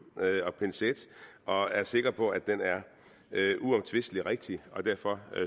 og pincet og er sikre på at den er uomtvistelig rigtig og derfor